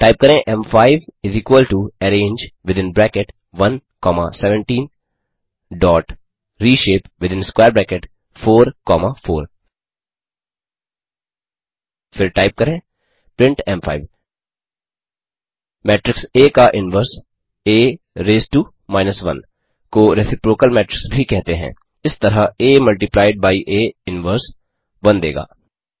type करें एम5 arange within bracket 1 comma 17रिशेप विथिन स्क्वेयर ब्रैकेट 4 कॉमा 4 फिर टाइप करें प्रिंट एम5 मेट्रिक्स आ का inverse A raised to minus one को रेसिप्रोकल मेट्रिक्स भी कहते हैं इस तरह A multiplied by A inverse 1 देगा